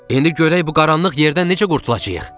İndi görək bu qaranlıq yerdən necə qurtulacağıq.